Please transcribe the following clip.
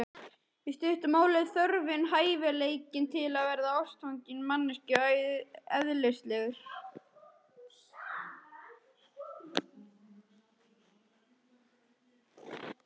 Í stuttu máli er þörfin og hæfileikinn til að verða ástfanginn manneskjunni eðlislægur.